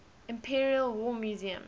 imperial war museum